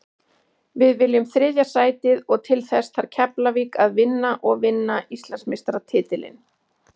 Við viljum þriðja sætið og til þess þarf Keflavík að vinna og vinna Íslandsmeistaratitilinn.